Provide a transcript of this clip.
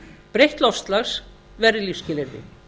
breytt loftslag verði lífsskilyrði